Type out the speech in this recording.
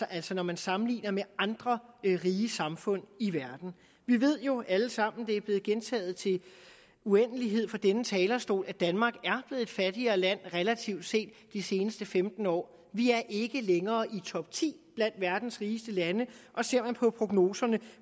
altså når man sammenligner med andre rige samfund i verden vi ved jo alle sammen det er blevet gentaget til uendelighed fra denne talerstol at danmark er et fattigere land relativt set de seneste femten år vi er ikke længere i topti blandt verdens rigeste lande og ser man på prognoserne